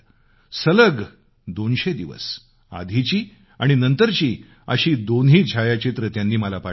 सलग दोनशे दिवस आधीचे आणि आताचे असे दोन्ही फोटो त्यांनी मला पाठवले